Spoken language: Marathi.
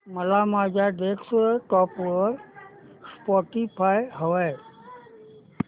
मला माझ्या डेस्कटॉप वर स्पॉटीफाय हवंय